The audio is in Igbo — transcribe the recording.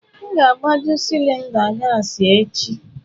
M ga-agbaju cilinda gassi echi.